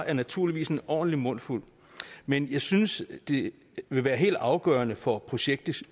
er naturligvis en ordentlig mundfuld men jeg synes det vil være helt afgørende for projektets